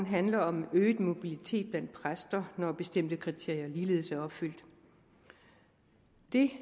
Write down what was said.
handler om øget mobilitet blandt præster når bestemte kriterier ligeledes er opfyldt det